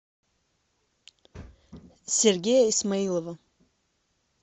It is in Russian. сергея исмаилова